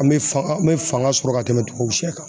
An bɛ fan an bɛ fanga sɔrɔ ka tɛmɛ tubabusiyɛ kan.